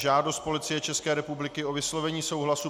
Žádost Policie České republiky o vyslovení souhlasu